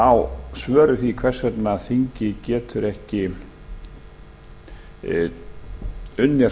á svör við því hvers vegna þingið getur ekki unnið